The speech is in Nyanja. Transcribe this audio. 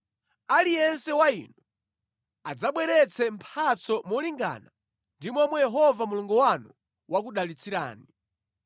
Aliyense wa inu adzabweretse mphatso molingana ndi momwe Yehova Mulungu wanu wakudalitsirani.